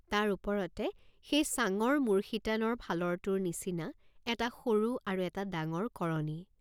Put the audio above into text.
তাৰ ওপৰতে সেই চাঙ্গৰ মূৰশিতানৰ ফালৰটোৰ নিচিনা এটা সৰু আৰু এটা ডাঙৰ কৰণী।